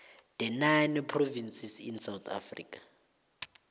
the nine provinces in south africa